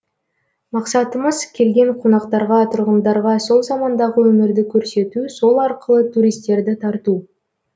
мақсатымыз келген қонақтарға тұрғындарға сол замандағы өмірді көрсету сол арқылы туристерді тарту